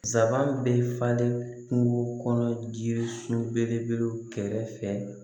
Sabanan bɛ falen kungo kɔnɔ jiri so belebele kɛrɛ fɛ